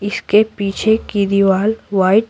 इसके पीछे की दीवार वाइट --